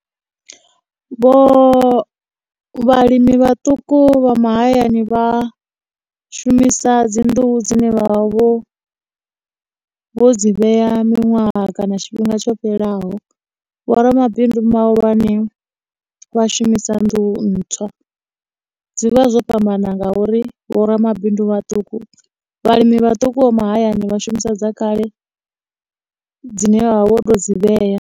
Vho, vhalimi vhaṱuku vha mahayani vha shumisa dzinḓuhu dzine vha vha vho, vho dzi vheya miṅwaha kana tshifhinga tsho fhelelaho, vho ramabindu mahulwane vha shumisa nḓuhu ntswa, dzi vha zwo fhambana ngauri vho ramabindu vhaṱuku, vhalimi vhaṱuku vha mahayani vha shumisa dza kale dzine vha vha vho tou dzi vheya.